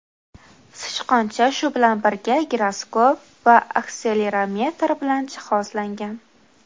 Sichqoncha, shu bilan birga, giroskop va akselerometr bilan jihozlangan.